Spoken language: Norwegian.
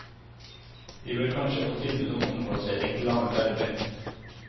De bør kanskje få tilbud om omplassering til annet arbeid.